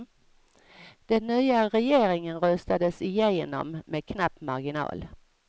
Den nya regeringen röstades igenom med knapp marginal.